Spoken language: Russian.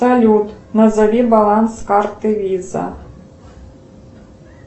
салют назови баланс карты виза